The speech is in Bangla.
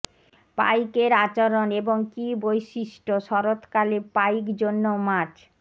পাইক এর আচরণ এবং কি বৈশিষ্ট্য শরৎকালে পাইক জন্য মাছ